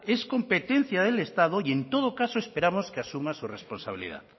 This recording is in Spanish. es competencia del estado y en todo caso esperamos que asuma su responsabilidad